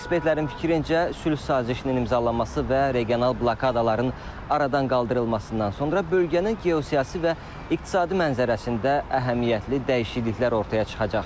Gürcü ekspertlərin fikrincə, sülh sazişinin imzalanması və regional blokadaların aradan qaldırılmasından sonra bölgənin geosiyasi və iqtisadi mənzərəsində əhəmiyyətli dəyişikliklər ortaya çıxacaq.